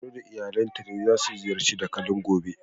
Mero da iyalinta za su ziyarci dakalin gobe.